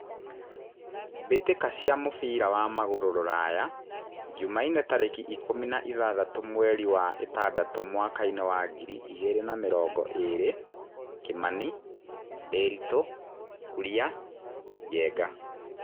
Mbĩ tĩ ka cia mũbira wa magũrũ Ruraya Jumaine tarĩ ki ikũmi na ithathatũ mweri wa ĩ tandatũ mwakainĩ wa ngiri igĩ rĩ na mĩ rongo ĩ rĩ : Kimani, Ndiritu, Kuria, Njenga.